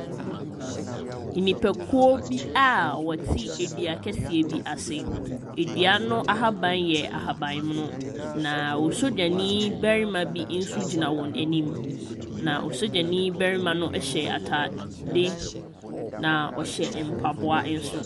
Nnipakuo bi a wɔte ɛdu kɛseɛ bi ase. Ɛdua no ahaban yɛ ahaban mono na osogyanii barima bi nso gyina wɔn anim na osogyani barima no ɛhyɛ ataade na ɔhyɛ mpaboa nso.